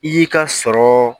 I y'i ka sɔrɔ